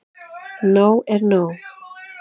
Nóg er nóg.